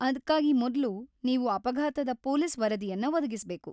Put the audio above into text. ಅದ್ಕಾಗಿ ಮೊದ್ಲು ನೀವು ಅಪಘಾತದ ಪೊಲೀಸ್ ವರದಿಯನ್ನ ಒದಗಿಸ್ಬೇಕು.